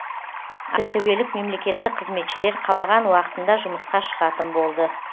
ақтөбелік мемлекеттік қызметшілер қалаған уақытында жұмысқа шығатын болды